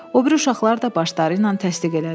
O biri uşaqlar da başları ilə təsdiq elədilər.